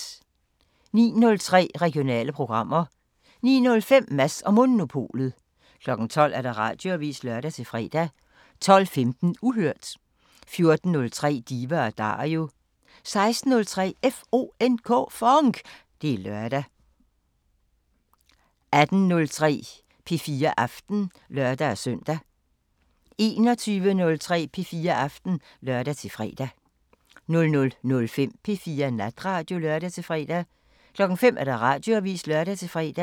06:03: Regionale programmer 09:05: Mads & Monopolet 12:00: Radioavisen (lør-fre) 12:15: Uhørt 14:03: Diva & Dario 16:03: FONK! Det er lørdag 18:03: P4 Aften (lør-søn) 21:03: P4 Aften (lør-fre) 00:05: P4 Natradio (lør-fre) 05:00: Radioavisen (lør-fre)